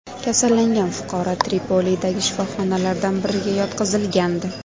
Kasallangan fuqaro Tripolidagi shifoxonalardan biriga yotqizilgandi.